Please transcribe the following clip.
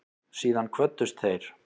Síðan kvöddust þeir.